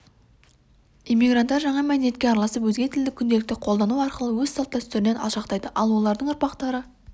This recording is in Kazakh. иммигранттар жаңа мәдениетке араласып өзге тілді күнделікті қолдану арқылы өз салт-дәстүрінен алшақтайды ал олардың ұрпақтары